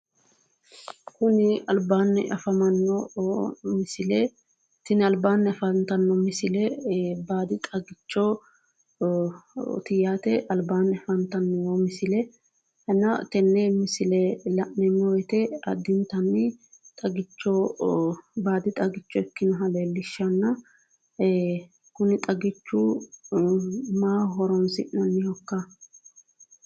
Kuni alibaani afamanno misile tini alibaani afanittanno misile baadi xagichoti yaate albaani afanitanno misile tenne misile la'neemo woyite addinitan xaggichoho baadi xagicho ikkinota leelishannona kuni xagichu maaho horonisi'nqnihokka?